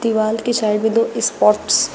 दिवाल की साइड में दो स्पॉट्स --